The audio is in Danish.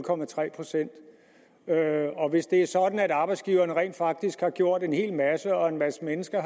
procent hvis det er sådan at arbejdsgiverne rent faktisk har gjort en hel masse og en masse mennesker